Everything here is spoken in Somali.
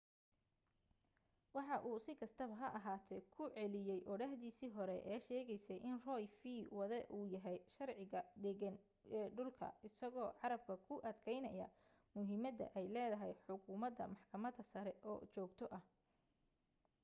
waxa uu si kastaba ha ahaatee ku celiyay odhaahdiisii hore ee sheegaysay in roe v. wade uu yahay sharciga deggan ee dhulka isagoo carrabka ku adkaynaya muhiimadda ay leedahay xukumadda maxkamadda sare oo joogto ah